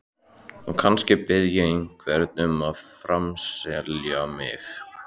Og kannski bið ég einhvern um að framselja mig.